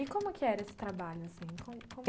E como que era esse trabalho, assim? como como